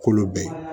Kolo bɛɛ ye